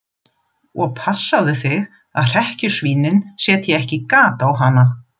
Og passaðu þig að hrekkjusvínin setji ekki gat á hana.